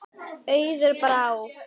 Auður Brá.